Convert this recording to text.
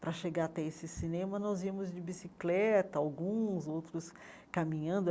Para chegar até esse cinema, nós íamos de bicicleta, alguns outros caminhando.